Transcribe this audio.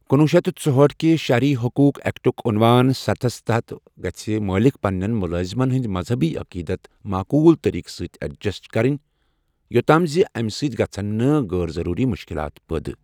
کنوہہ شتھ ژُہٲٹھ کہ شہری حقوق ایکٹک عنوان ستھَ ہس مُطٲبِق گٔژھۍ مٲلک پننٮ۪ن مُلٲزمَن ہُنٛد مذہبی عقیٖدت 'معقوٗل طٔریٖقہٕ سۭتۍ ایڈجسٹ' کرٕنۍ یۄتتھ تام زِ اَمہِ سۭتۍ گژھن نہٕ'غٲر ضروٗری مشکلات' پٲدٕ۔